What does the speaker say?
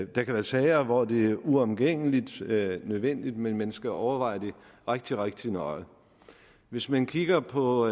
der kan være sager hvor det er uomgængelig nødvendigt men man skal overveje det rigtig rigtig nøje hvis man kigger på